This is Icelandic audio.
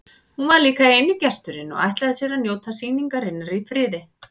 Hún var líka eini gesturinn og ætlaði sér að njóta sýningarinnar í friði.